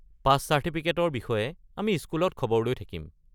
পাছ চাৰ্টিফিকেটৰ বিষয়ে আমি স্কুলত খবৰ লৈ থাকিম।